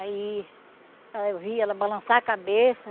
Aí, eu vi ela balançar a cabeça.